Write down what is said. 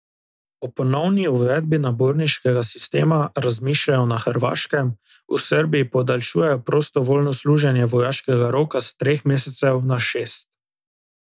O ponovni uvedbi naborniškega sistema razmišljajo na Hrvaškem, v Srbiji podaljšujejo prostovoljno služenje vojaškega roka s treh mesecev na šest.